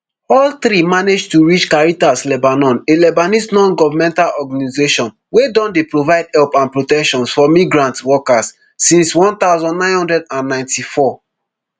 all three manage to reach caritas lebanon a lebanese nongovernmental organisation wey don dey provide help and protection for migrant workers since one thousand, nine hundred and ninety-four